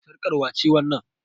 Sarƙar wace wannan?